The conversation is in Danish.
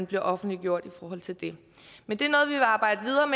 blev offentliggjort i forhold til det men det